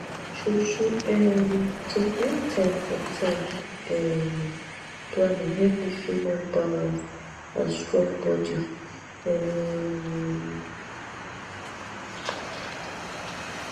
truetrue um to create time for time um planning help me feel more balanced and strong body um